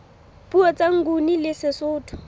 puo tsa nguni le sesotho